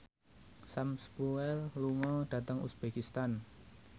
Sam Spruell lunga dhateng uzbekistan